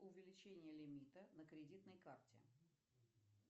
увеличение лимита на кредитной карте